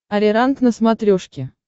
ариранг на смотрешке